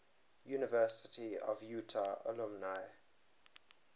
university of utah alumni